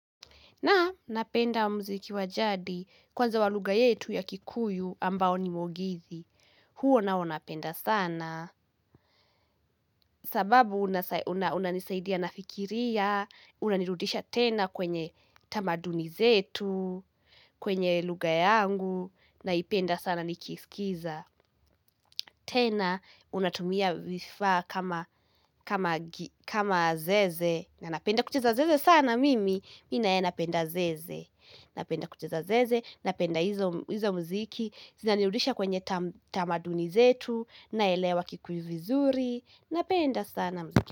Nam napenda mziki wajadi kwanza waluga yetu ya kikuyu ambao ni mogithi. Huo nao napenda sana. Sababu unas unanisaidia nafikiria, unanirudisha tena kwenye tamaduni zetu, kwenye luga yangu, naipenda sana nikiiskiza. Tena, unatumia vifaa kama kama gi kama zeze. Na napenda kucheza zeze sana mimi, mi naye napenda zeze. Napenda kucheza zeze, napenda hizo m hizo muziki Zinanirudisha kwenye tam tamaduni zetu naelewa kikuyu vizuri Napenda sana muziki.